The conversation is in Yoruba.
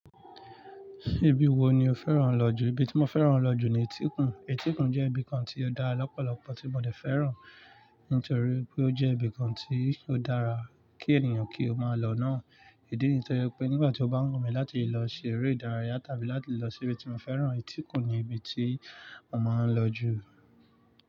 Ibi wo ni o fẹ́ràn lọ jù? Ibi tí mo fẹ́ràn lọ jù ni Etíkun. Etíkun jẹ́ ibi kan tí ó dára lọ́pọ̀lọpọ̀ tí mo dè fẹ́ràn, nítorí pé ó jẹ́ ibi kan tí ó dára kí ènìyàn kí ó máa lọ náà. Ìdí niyìí to fi je pé nígbà tí ó bá wù mí láti lọ ṣe eré ìdárayá tàbí láti lọ síbi tí mo fẹ́ràn, Etíkun ni ibi tí mo máa ń lọ jù.